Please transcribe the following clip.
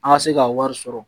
An ka se ka wari sɔrɔ